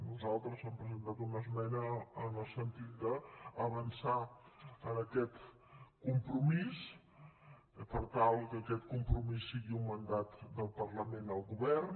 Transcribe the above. nosaltres hem presentat una esmena en el sentit d’avançar en aquest compromís per tal que aquest compromís sigui un mandat del parlament al govern